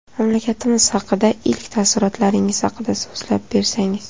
Mamlakatimiz haqidagi ilk taassurotlaringiz haqida so‘zlab bersangiz.